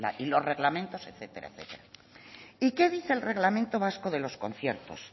y los reglamentos etcétera etcétera y qué dice el reglamento vasco de los conciertos